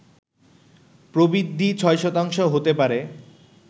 প্রবৃদ্ধি ৬ শতাংশ হতে পারে